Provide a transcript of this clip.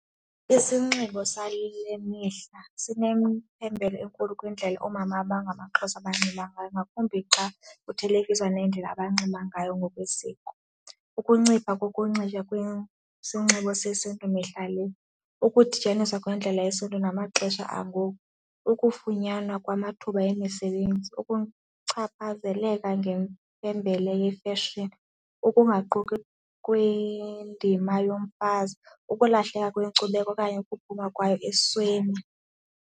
Isinxibo sale mihla sinemphembela enkulu kwindlela oomama abangamaXhosa abanxiba ngayo ngakumbi xa kuthelekiswa nendlela abanxiba ngayo ngokwesiko, ukuncipha kokunxitywa kwesinxibo sesiNtu mihla le. Ukudityaniswa kwendlela yesiNtu namaxesha ngoku, ukufunyanwa kwamathuba emisebenzi, ukuchaphazeleka ngempembelelo ifeshini, ukungaqoki kwindima yomfazi, ukulahleka kweenkcubeko okanye ukuphuma kwayo esweni.